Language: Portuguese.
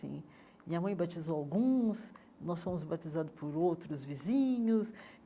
minha mãe batizou alguns, nós fomos batizados por outros vizinhos.